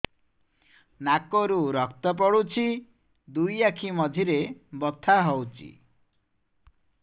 ନାକରୁ ରକ୍ତ ପଡୁଛି ଦୁଇ ଆଖି ମଝିରେ ବଥା ହଉଚି